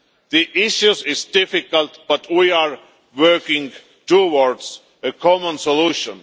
The issues are difficult but we are working towards a common solution.